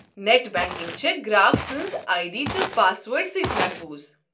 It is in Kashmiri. نٮ۪ٹ بنٛکنٛگ چھےٚ گراک سٕنٛز آیہ ڈی تہٕ پاس وٲرڈٕ سۭتۍ محفوٗظ۔